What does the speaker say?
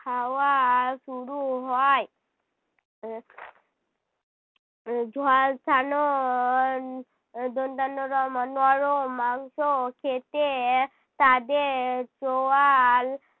খাওয়া শুরু হয়। উহ ঝলসানোর দন্তেন্ন র নরম মাংস খেতে তাদের চোয়াল